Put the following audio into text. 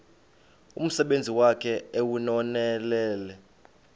umsebenzi wakhe ewunonelele